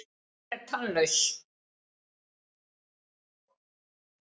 Hún er tannlaus.